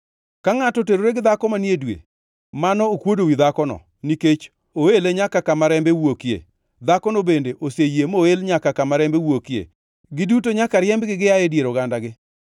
Ka ngʼato oterore gi dhako manie dwe, mano okuodo wi dhakono, nikech oele nyaka kama rembe wuokie, dhakono bende oseyie moel nyaka kama rembe wuokie. Giduto nyaka riembgi gia e dier ogandagi.